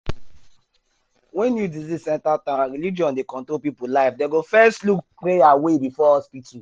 when new disease enter town and religion dey control people life dem go first look prayer um way before hospital.